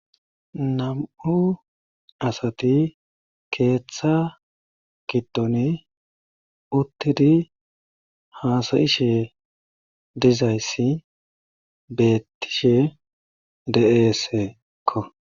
Nam7u asati keetha giddoni uttidi haasa7ishe dizayssi beettishe de7eesekko.